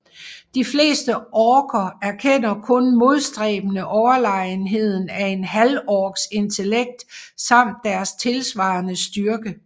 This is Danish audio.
De fleste orker erkender kun modstræbende overlegenheden af en halvorks intellekt samt deres tilsvarende styrke